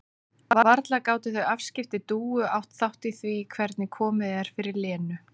Varla gátu þau afskipti Dúu átt þátt í því hvernig komið er fyrir Lenu?